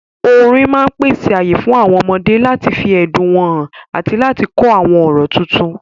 Orin máa pèsè ààyè fún àwọn ọmọdé láti fi ẹ̀dùn wọn hàn àti láti kọ́ àwọn ọ̀rọ̀ tuntun.